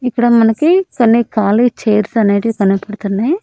ఇక్కడ మనకి కొన్ని కాలి చైర్స్ అనేటివి కనబడుతున్నాయి.